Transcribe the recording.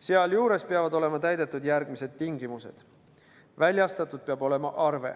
Sealjuures peavad olema täidetud järgmised tingimused: väljastatud peab olema arve;